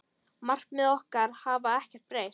Markmið okkar hafa ekkert breyst.